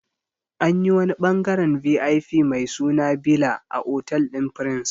Anyi wani ɓangaren VIP mai suna bila a otal ɗin prince